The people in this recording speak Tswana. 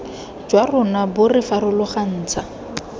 jwa rona bo re farologantsha